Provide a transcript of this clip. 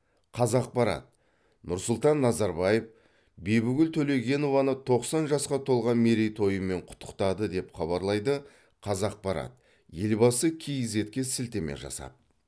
қазақпарат нұрсұлтан назарбаев бибігүл төлегенованы тоқсан жасқа толған мерейтойымен құттықтады деп хабарлайды қазақпарат елбасы кизедке сілтеме жасап